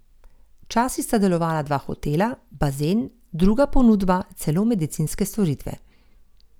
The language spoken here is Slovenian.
Včasih sta delovala dva hotela, bazen, druga ponudba, celo medicinske storitve.